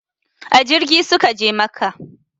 A jirgi su ka je makka